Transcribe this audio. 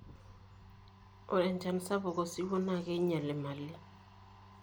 ore echan sapuk osiwuao naa kinyal emali